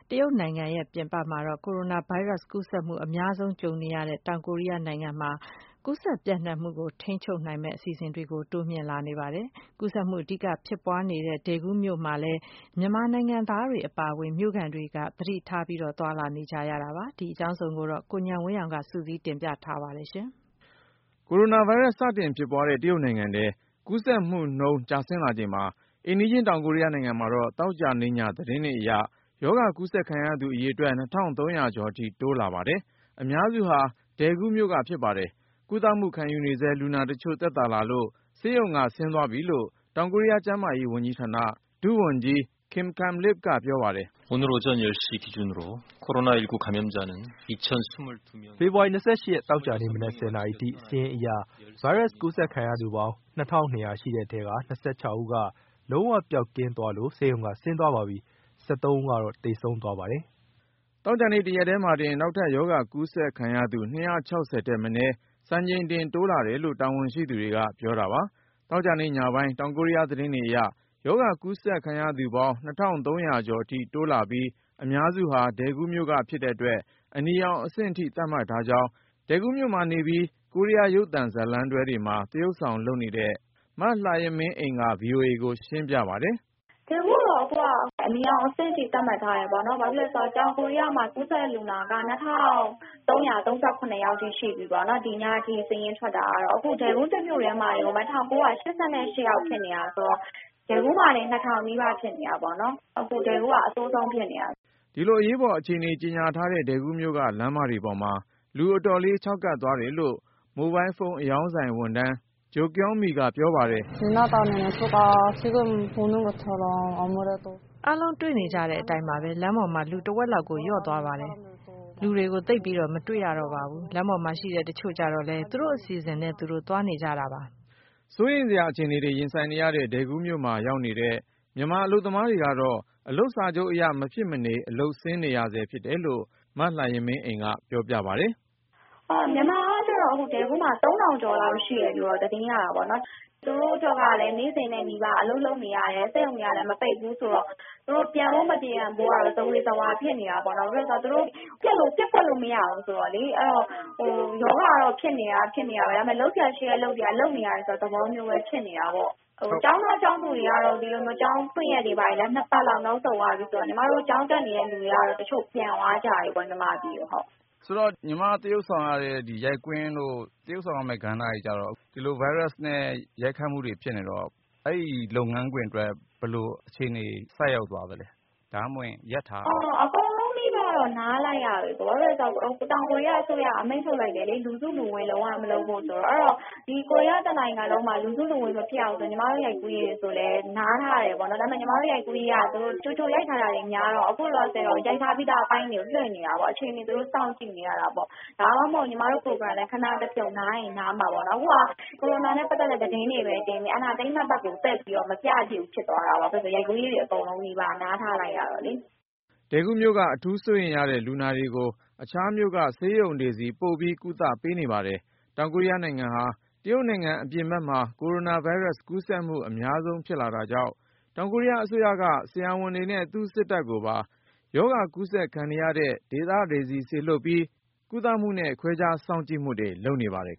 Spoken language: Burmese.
တရုတ်နိုင်ငံပြင်ပမှာ ကိုရိုနာဗိုင်းရပ်စ်ကူးစက်မှု အများဆုံးကြုံနေရတဲ့ တောင်ကိုရီးယားနိုင်ငံမှာတော့ ကူးစက်ပျံ့နှံ့မှုကို ထိန်းချုပ်နိုင်မယ့် အစီအစဉ်တွေ တိုးမြှင့်လာနေပါတယ်။ ကူးစက်မှု အဓိကဖြစ်ပွားနေတဲ့ Daegu မြို့မှာလည်း မြန်မာနိုင်ငံသားတွေအပါအဝင် မြို့ခံတွေ သတိထား သွားလာနေကြရတာပါ။ အကြောင်းစုံကိုတော့ ကိုဉာဏ်ဝင်းအောင်က စုစည်းတင်ပြ ထားပါတယ်။ ကိုရိုနာဗိုင်းရပ်စ် စတင်ဖြစ်ပွားတဲ့ တရုတ်နိုင်ငံထဲ ကူးစက်မှုနှုန်းကျဆင်းလာချိန်မှာ အိမ်နီးချင်းတောင်ကိုရီးယားနိုင်ငံမှာတော့ သောကြာနေ့ည သတင်းတွေအရ ရောဂါကူးစက် ခံရသူအရေအတွက် ၂၃၀၀ ကျော်အထိ တိုးလာပါတယ်။ အများစုဟာ Daegu မြို့က ဖြစ်ပါတယ်။ ကုသမှု ခံယူဆဲ လူနာတချို့ သက်သာလို့ ဆေးရုံက ဆင်းသွားပြီလို့ တောင်ကိုရီးယား ကျန်းမာရေးဝန်ကြီးဌာန ဒုဝန်ကြီး Kim Kang-Lip ကပြော ပါတယ်။ “ဖေဖေါ်ဝါရီ ၂၈ ရက် သောကြာနေ့မနက် နာရီအထိ စာရင်းအရ ဗိုင်းရပ်စ် ကူးစက်ခံရသူပေါင်း ရှိတဲ့အထဲက ဦးက လုံးဝ ပျောက်ကင်းသွားလို့ ဆေးရုံက ဆင်းသွားပါပြီ။ ဦး သေဆုံး သွားပါတယ်။” သောကြာနေ့ တရက်ထဲမှာတင် နောက်ထပ် ရောဂါကူးစက်ခံရသူ ထက်မနည်း စံချိန်တင် တိုးလာတယ်လို့ တာဝန်ရှိသူတွေက ပြောတာပါ။ သောကြာညပိုင်း တောင်ကိုရီးယား သတင်းတွေအရ ရောဂါကူးစက်ခံရသူပေါင်း ကျော်ထိ တိုးလာပြီး အများစုဟာ Daegu မြို့ကဖြစ် တဲ့အတွက် အနီရောင်အဆင့်ထိ သတ်မှတ်ထားကြောင်း Daegu မြို့မှာနေပြီး ကိုရီးယား ရုပ်သံဇာတ်လမ်းတွဲတွေမှာ သရုပ်ဆောင်လုပ်နေတဲ့ မလှယမင်းအိမ်က VOA ကိုရှင်းပြပါတယ်။ “Daegu ကတော့ အနီရောင်အဆင့်အထိ သတ်မှတ်ထားတယ်ပေါ့နော်။ ဘာဖြစ်လို့လဲဆိုတော့ တောင်ကိုရီးယားမှာ ကူးစက်လူနာက ၂၃၃၇ ယောက်အထိ ရှိသွားပြီပေါ့နော် ဒီညအထိ စာရင်းထွက်တာက အခု Daegu တမြို့ထဲမှာပဲ ၁၉၈၈ ယောက်ဖြစ်နေတာဆိုတော့ Daegu မှာတင် ၂၀၀၀ နီးပါးဖြစ်နေတယ်။ အခု Daeguက အဆိုးဆုံးဖြစ်နေတယ်။” ဒီလိုအရေးပေါ် အခြေအနေကြေညာထားတဲ့ Daegu မြို့က လမ်းမတွေပေါ်မှာ လူအတော်လေး ခြောက်ကပ်သွားတယ်လို့ မိုဘိုင်းဖုန်း အရောင်းဆိုင်ဝန်ထမ်း Jo Kyung Mi ကပြောပါတယ်။ “ အားလုံး တွေ့ကြတဲ့အတိုင်းပါပဲ လမ်းပေါ်မှာ လူတဝက်လောက် လျော့သွားပါတယ်။ လမ်းမှာ လူတွေကို သိပ်မတွေ့ရ တော့ပါဘူး။ လမ်းပေါ်ရှိတဲ့ လူတချို့ကျတော့ သူတို့အစီအစဉ်နဲ့သူတို့ သွားနေကြတာပါ။ ” စိုးရိမ်စရာ အခြေအနေရင်ဆိုင်နေရတဲ့ Daegu မြို့မှာရောက်နေတဲ့ မြန်မာအလုပ်သမားတွေကတော့ အလုပ်စာချုပ်အရ မဖြစ်မနေ အလုပ် ဆင်းနေရဆဲဖြစ်တယ်လို့ မလှယမင်းအိမ်က ပြောပါတယ်။ “ မြန်မာကတော့ Daegu မှာ ၃၀၀၀ ကျော်လောက်ရှိတယ်လို့ သတင်းရတယ်။ သူတို့ကလည်း နေ့စဉ်အလုပ်လုပ်နေရတယ် စက်ရုံတွေကလည်း မပိတ်ဘူးဆိုတော့ သူတို့ ပြန်ဖို့ မပြန်ဖို့ဆိုတာက ဇဝေဇဝါဖြစ်နေတာပေါ့နော်။ ဘာဖြစ်လို့လဲဆိုတော့ သူတို့ ပျက်ကွက်လို့ မရဘူးဆိုတော့လေ ။ အဲဒီတော့ ရောဂါက ဖြစ်နေတာက ဖြစ်နေတာပဲ လုပ်စရာရှိတဲ့အလုပ်တွေက လုပ်နေရတယ်ဆိုတဲ့ သဘောမျိုးပဲ ဖြစ်နေတယ်။ ကျောင်းသားကျောင်းသူတွေကတော့ ကျောင်းဖွင့်ရက် ၂ ပတ်လောက်နောက်ဆုတ်သွားတယ်။ ညီမတို့ ကျောင်းတက်နေတဲ့လူတွေကတော့ ပြန်သွားကြတယ်ပေါ့နော် မြန်မာပြည်ကို။ မေး။ ။ ဆိုတော့ ညီမ သရုပ်ဆောင်ရတဲ့ ရိုက်ကွင်းတို့ သရုပ်ဆောင်ရမယ့် ကဏ္ဍတွေကျတော့ ဒီလိုဗိုင်းရပ်စ်နဲ့ ရိုက်ခတ်မှုတွေဖြစ်နေတော့ အဲဒီလုပ်ငန်းခွင်အတွက် ဘယ်လိုအခြေအနေ ဆိုက်ရောက်သွားသလဲ။ ဒါမှမဟုတ်ရင် ရပ်ထားရသလား။ ဖြေ။ ။ အကုန်လုံးနီးပါးတော့ နားလိုက်ရပြီ။ ဘာဖြစ်လို့လဲဆိုတော့ တောင်ကိုရီးယားအစိုးရက အမိန့်ထုတ်လိုက်တယ်လေ။ လူစုလူဝေး လုံးဝမလုပ်ဖို့ဆိုတော့ အဲဒီတော့ ဒီ ကိုရီးယား တနိုင်ငံလုံးမှာ လူစုလူဝေးမဖြစ်အောင် ညီမတို့ ရိုက်ကူးရေးကို နားထားတယ်ပေ့ါနော်။ ဒါပေမယ့် ညီမတို့ ရိုက်ကူးရေးက ကြိုရိုက်ထားတာတွေ များတော့ အခုလောလောဆယ်က ရိုက်ထားပြီးသား အပိုင်းတွေကို လွှင့်နေတာပေါ့နော်။ အခြေအနေကို စောင့်ကြည့်နေရတာပေါ့ ဒါမှမဟုတ်ရင် ညီမတို့ program လည်း ခဏ နားရင်နားမှာပေါ့နော်။ အခုက TV မှာ ကိုရိုနာနဲ့ ပတ်သက်တဲ့ သတင်းတွေပဲ တင်နေတယ်။ entertainment ဘက်ကို သိပ်မပြဖြစ်ဘူး ဖြစ်သွားတယ်။ ဘာဖြစ်လို့လဲဆိုတော့ ရိုက်ကူးရေးတွေ အကုန်လုံးနီးပါး နားထားလိုက်ရတော့လေ။” Daegu မြို့က အထူးစိုးရိမ်ရတဲ့ လူနာတွေကို အခြားမြို့က ဆေးရုံတွေဆီ ပို့ပြီးကုသမှုပေးနေပါတယ်။ တောင်ကိုရီးယားနိုင်ငံဟာ တရုတ်နိုင်ငံ အပြင်ဘက်မှာ ကိုရိုနာဗိုင်းရပ်စ် ကူးစက်မှုအများဆုံးဖြစ်လာတာကြောင့် တောင်ကိုရီးယားအစိုးရက ဆရာဝန်တွေနဲ့ သူ့စစ်တပ်ကို ရောဂါ ကူးစက်ခံရတဲ့ဒေသတွေဆီ စေလွှတ်ထားပြီး ကုသမှုနဲ့ ခွဲခြား စောင့်ကြည့်မှုတွေ လုပ်နေပါတယ်